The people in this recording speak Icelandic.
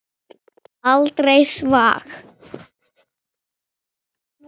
Aldrei svag!